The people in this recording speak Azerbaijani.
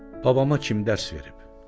Babana kim dərs verib?